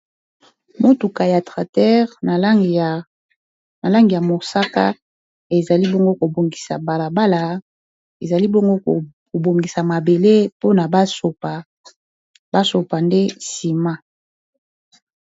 Motuka ya tratere na langi ya mosaka ezali bongo kobongisa balabala ezali bongo kobongisa mabele mpona basopa nde nsima.